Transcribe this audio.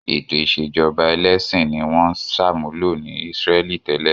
Ètò ìṣèjọba ẹlẹ́sìn ni wọ́n ń ṣàmúlò ní Ísírẹ́lì tẹ́lẹ̀.